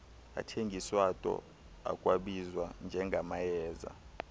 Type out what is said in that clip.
athengiswato akwabizwa njengamayeza